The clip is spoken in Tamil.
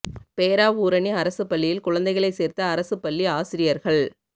பேராவூரணி அரசுப் பள்ளியில் குழந்தைகளை சோ்த்த அரசுப் பள்ளி ஆசிரியா்கள்